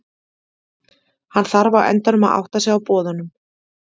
Hann þarf á endanum að átta sig á boðunum.